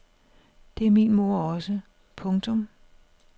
Det er min mor også. punktum